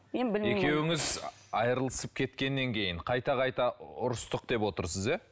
мен екеуіңіз айрылысып кеткеннен кейін қайта қайта ұрыстық деп отырсыз иә